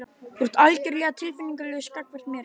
Þú ert algjörlega tilfinningalaus gagnvart mér.